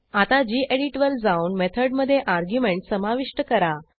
आता गेडीत वर जाऊन मेथडमधे अर्ग्युमेंट समाविष्ट करा